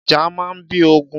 Ìjà máa ń bí ogun.